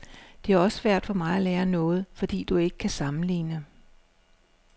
Det er også svært for mig at lære noget, fordi du ikke kan sammenligne.